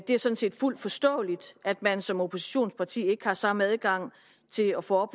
det er sådan set fuldt forståeligt at man som oppositionsparti ikke har samme adgang til at få